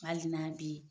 Hali n'a bɛ yen